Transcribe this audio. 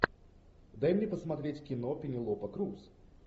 дай мне посмотреть кино пенелопа круз